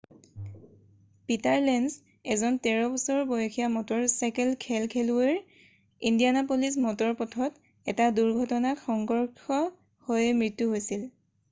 Peter Lenz এজন 13 বছৰ বয়সীয়া মটৰ চাইকেল খেল খেলুৱৈৰ ইণ্ডিয়ানাপলিছ মটৰ পথত এটা দুৰ্ঘটনাত সংঘৰ্ষ হৈ মৃত্যু হৈছিল